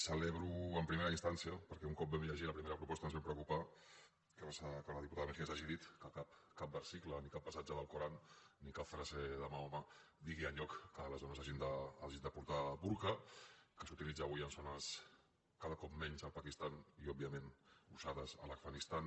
celebro en primera instància perquè un cop vam llegir la primera proposta ens vam preocupar que la diputada mejías hagi dit que cap versicle ni cap passatge de l’alcorà ni cap frase de mahoma digui enlloc que les dones hagin de portar burca que s’utilitza avui en zones cada cop menys al pakistan i òbviament usats a l’afganistan